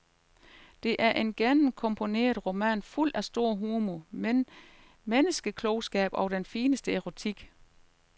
Det er en gennemkomponeret roman fuld af stor humor, menneskeklogskab og den fineste erotik.